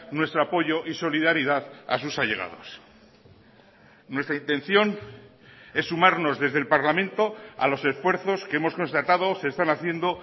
nuestro apoyo y solidaridad a sus allegados nuestra intención es sumarnos desde el parlamento a los esfuerzos que hemos constatado se están haciendo